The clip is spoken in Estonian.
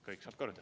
Kõik saab korda.